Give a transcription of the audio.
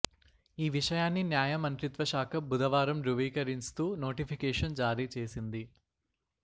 ఈ విషయాన్ని న్యాయ మంత్రిత్వ శాఖ భుధవారం దృవీకరింస్తూ నోటిఫికేషన్ జారీ చేసింది